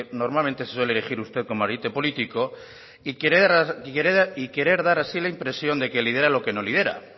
normalmente se suele erigir usted como ariete político y querer dar así la impresión de que lidera lo que lidera